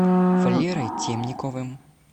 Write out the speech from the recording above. валерой темниковым